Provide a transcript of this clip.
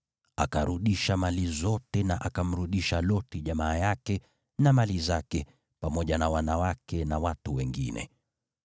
Akarudisha mali zote, na akamrudisha Loti jamaa yake na mali zake, pamoja na wanawake na watu wengine.